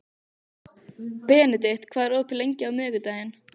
Benedikt, hvað er opið lengi á miðvikudaginn?